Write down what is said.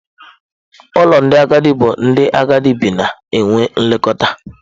Ụlọ ndị agadi bụ ebe ndị agadi bi na-enweta nlekọta.